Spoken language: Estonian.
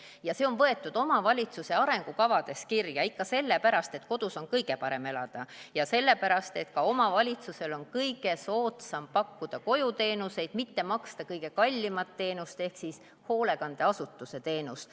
Ja see on pandud kirja omavalitsuse arengukavades, ikka sellepärast, et kodus on kõige parem elada, ja sellepärast, et ka omavalitsusel on kõige soodsam pakkuda koduteenuseid, mitte maksta kõige kallimat teenust ehk siis hoolekandeasutuse teenust.